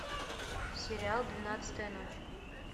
сериал двенадцатая ночь